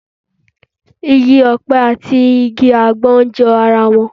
Igi ọ̀pẹ àti igi àgbọn jọ ara wọn